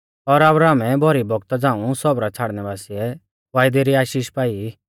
और अब्राहमै भौरी बौगता झ़ाऊं सौबरा छ़ाड़नै बासीऐ वायदै री आशीष पाई